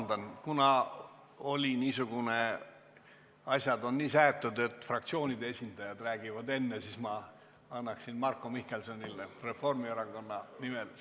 Siiski, vabandust, kuna asjad on nii seatud, et fraktsioonide esindajad räägivad enne, siis ma annaksin enne sõna Marko Mihkelsonile, kes esineb Reformierakonna fraktsiooni nimel.